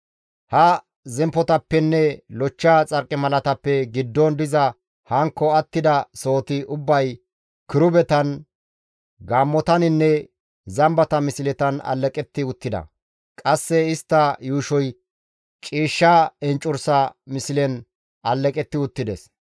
Ha zemppotappenne lochcha xarqimalatappe giddon diza hankko attida sohoti ubbay kirubetan, gaammotaninne zambata misletan alleqetti uttida; qasse istta yuushoy ciishsha enccursa mislen alleqetti uttides.